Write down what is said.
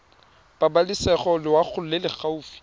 pabalesego loago e e gaufi